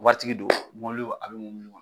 Waritigi don, mɔbili a bɛ mɔbili kɔnɔ